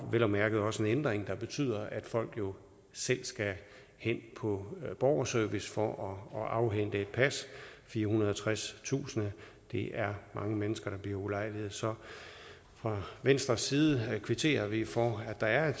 vel at mærke også en ændring der betyder at folk jo selv skal hen på borgerservice for at afhente et pas firehundrede og tredstusind det er mange mennesker der bliver ulejliget så fra venstres side kvitterer vi for at der er